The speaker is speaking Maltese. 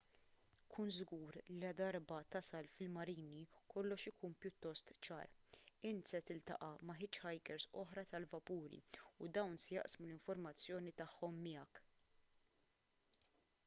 kun żgur li ladarba tasal fil-marini kollox ikun pjuttost ċar inti se tiltaqa' ma' hitchhikers oħra tal-vapuri u dawn se jaqsmu l-informazzjoni tagħhom miegħek